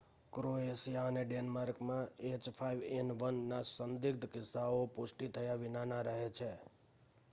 Croatia અને ડેનમાર્કમાં h5n1નાં સંદિગ્ધ કિસ્સાઓ પુષ્ટિ થયા વિનાના રહે છે